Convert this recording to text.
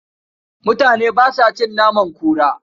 Mutane ba sa a cin naman kura.